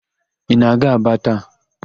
Ị na-aga Aba taa?